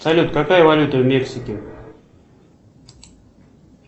салют какая валюта в мексике